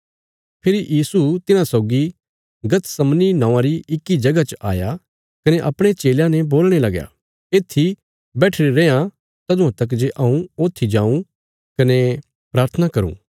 फेरी यीशु तिन्हां सौगी गतसमनी नौआं री इक्की जगह च आया कने अपणे चेलयां ने बोलणे लगया येत्थी बैठिरे रैयां तदुआं तक जे हऊँ ओत्थी जाऊँ कने प्राथना करूँ